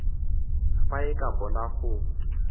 fa e ka bona go